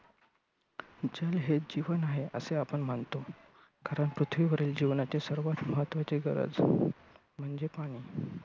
जल हे जीवन आहे असे आपण मानतो. कारण पृथ्वीवरील जीवनाची सर्वात महत्त्वाची गरज म्हणजे पाणी.